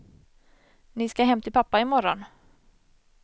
Ni ska hem till pappa imorgon.